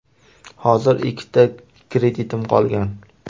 Hozir ikkita kreditim qolgan.